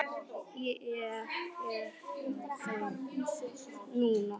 Ég er hjá þér núna.